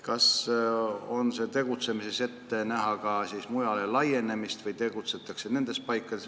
Kas on ette näha ka mujale laienemist või tegutsetakse ainult nendes paikades?